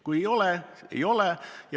Kui ei ole kallutatust, siis ei ole.